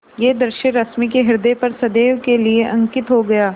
यह दृश्य रश्मि के ह्रदय पर सदैव के लिए अंकित हो गया